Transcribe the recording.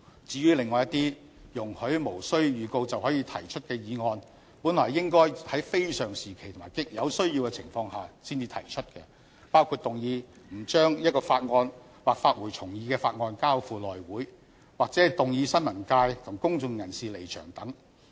至於另外一些容許無經預告便可提出的議案，本來應該是在非常時期及有需要的情況下才提出，包括動議不須將一項法案或發回重議的法案交付內務委員會，或動議新聞界及公眾人士離場等。